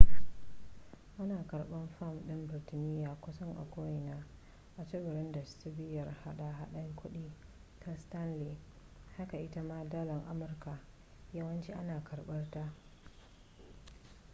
ana karbar fam din birtaniya kusan a ko'ina a tsibirin da cibiyar hada hadar kudi ta stanley haka ita ma dalar amurka yawanci ana karbar ta